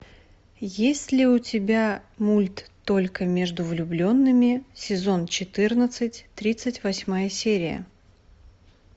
есть ли у тебя мульт только между влюбленными сезон четырнадцать тридцать восьмая серия